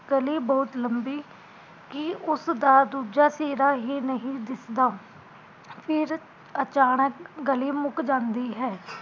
ਗਲੀ ਬਹੁਤ ਲਬੀਕੀ ਉਸ ਦਾ ਦੂਜਾ ਸਿਰਾ ਹੀਂ ਨਹੀਂ ਦਿਸਦਾ ਅਚਾਨਕ ਗਲੀ ਮੁੱਕ ਜਾਂਦੀ ਹੈ